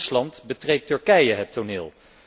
Naast Rusland betreedt Turkije het toneel.